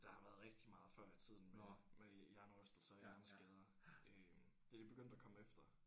Der har været rigtig meget før i tiden med med hjernerystelser og hjerneskader øh det er de begyndt at komme efter